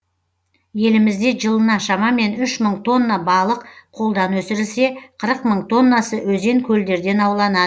елімізде жылына шамамен үш мың тонна балық қолдан өсірілсе қырық мың тоннасы өзен көлдерден ауланады